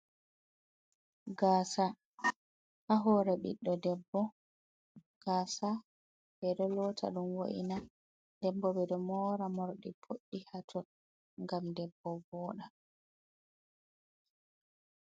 Gaasa, ha hoore biɗɗo debbo. Gaasa be ɗo loota ɗum wo’ina, den bo ɓe ɗo moora morɗi boɗɗi haton gam debbo vooɗa.